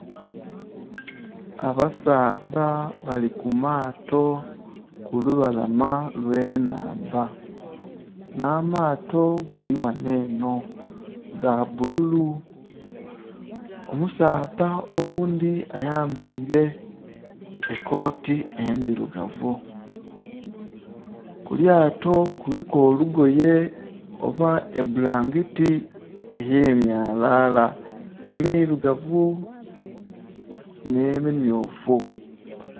Abasaadha bali ku maato ku lubalama lwe nhandha nha maato gali ghanho enho ga bbululu, omusaadha oghundhi ayambaire ekooti endhirugavu, kulyato kuliku olugoye oba ebbulangiti eye myalala emirugavu nhe mi myufu.